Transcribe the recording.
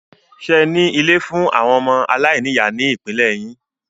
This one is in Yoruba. Ṣẹ ní ilé fún àwọn ọmọ aláìní ìyá ní ìpínlẹ̀ yín?